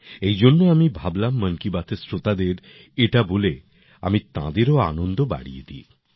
এই জন্য আমি ভাবলাম মন কি বাতের শ্রোতাদের এটা বলে আমি তাঁদেরও আনন্দ বাড়িয়ে দিই